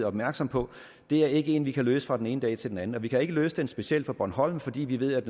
opmærksomme på det er ikke en problematik vi kan løse fra den ene dag til den anden og vi kan ikke løse den specielt for bornholm fordi vi ved at